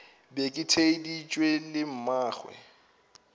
be ke theeditše le mmagwe